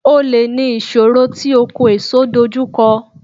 Olè ní ìṣòro tí oko èso dojú kọ.